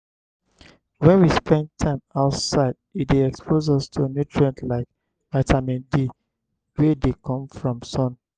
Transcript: when we spend time outside e dey expose us to nutrient like vitamine d wey dey come from sun